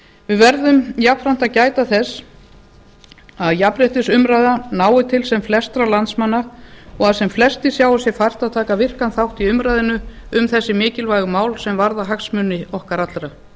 við verðum jafnframt að gæta þess að jafnréttisumræða nái til sem flestra landsmanna og að flestir sjái sér fært að taka virkan þátt í umræðunni um þessi mikilvægu mál sem varða hagsmuni okkar allra